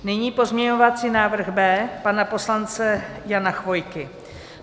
Nyní pozměňovací návrh B pana poslance Jana Chvojky.